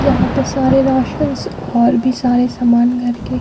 यहाँ पे सारे राशन और भी सारे सामान घर के --